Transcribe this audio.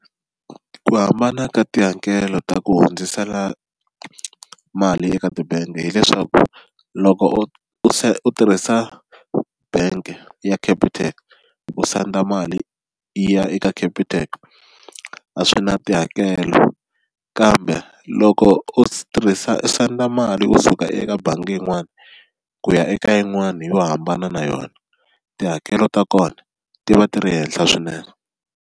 Ku hambana ka tihakelo ta ku hundzisela mali eka tibangi hileswaku loko u u tirhisa bank ya Capitec u senda mali yi ya eka Capitec a swi na tihakelo kambe loko u tirhisa u senda mali kusuka eka bangi yin'wani ku ya eka yin'wani yo hambana na yona tihakelo ta kona ti va ti ri henhla swinene.